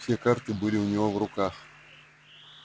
все карты были у него в руках